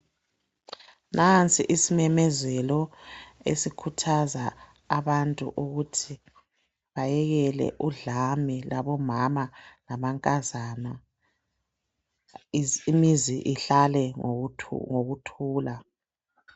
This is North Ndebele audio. Nansi isimemezelo esikhuthaza abantu ukuthi bayekele udlame. Labomama lamankazana. Imizi ihlale ngokuthula.